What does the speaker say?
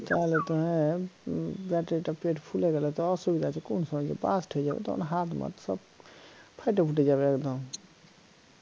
তাহলে তো এর উম battery টা ফুলে গেলে তো অসুবিধা আছে কোন সময় যে burst হয়ে যাবে তখন হাত মাত সব ফাইটা ফুইটা যাবে একদম